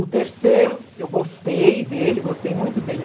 O terceiro, eu gostei dele, gostei muito dele.